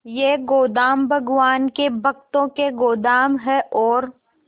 ये गोदाम भगवान के भक्तों के गोदाम है और